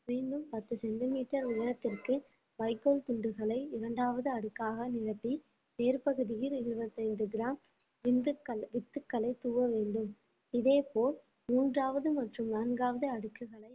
மீண்டும் பத்து சென்டிமீட்டர் உயரத்திற்கு வைக்கோல் துண்டுகளை இரண்டாவது அடுக்காக நிரப்பி வேர்ப்பகுதியில் இருபத்தி ஐந்து கிராம் விந்துகள்~ வித்துக்களை தூவ வேண்டும் இதே போல் மூன்றாவது மற்றும் நான்காவது அடுக்குகளை